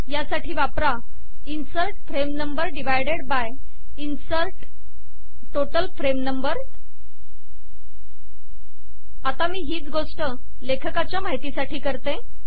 यासाठी वापरा insert frame number divided by insert total frame number आता मी हीच गोष्ट लेखकाच्या माहितीसाठी करते